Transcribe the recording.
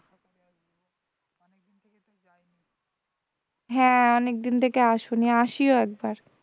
হ্যাঁ অনেকদিন থেকে আসনি আসিও একবার